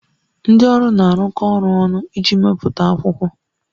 Ndị ọrụ na-arụkọ ọrụ ọnụ iji mepụta akwụkwọ